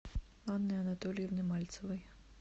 анны анатольевны мальцевой